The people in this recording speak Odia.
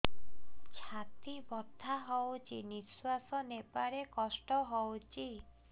ଛାତି ବଥା ହଉଚି ନିଶ୍ୱାସ ନେବାରେ କଷ୍ଟ ହଉଚି